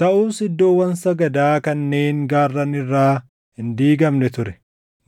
Taʼus iddoowwan sagadaa kanneen gaarran irraa hin diigamne ture;